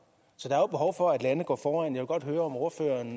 så der er jo behov for at lande går foran jeg vil godt høre om ordføreren